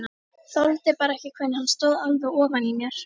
Þoldi bara ekki hvernig hann stóð alveg ofan í mér.